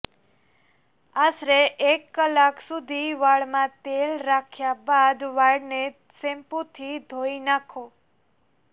આશરે એક કલાક સુધી વાળમાં તેલ રાખ્યા બાદ વાળને શેમ્પુથી ઘોઇ નાંખો